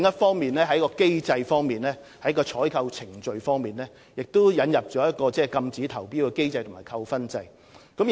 此外，在機制上，我們亦就採購程序引入禁止投標機制和扣分制度。